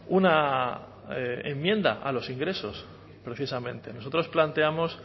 una enmienda a los ingresos precisamente nosotros planteamos